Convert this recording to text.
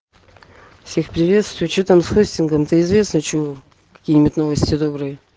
всех приветствую че там с хостингом та известно чего какие-нибудь новости добрые